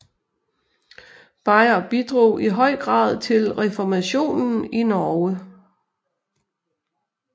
Beyer bidrog i høj grad til reformationen i Norge